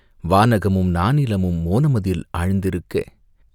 வானகமும் நானிலமும் மோனமதில் ஆழ்ந்திருக்க..